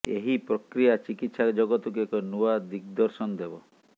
ଏହି ପ୍ରକ୍ରିୟା ଚିକିତ୍ସା ଜଗତକୁ ଏକ ନୂଆ ଦିଗ୍ଦର୍ଶନ ଦେବ